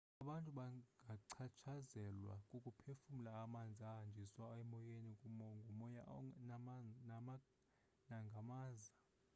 abantu bangachatshazelwa kukuphefumla amanzi ahanjiswa emoyeni ngumoya nangamaza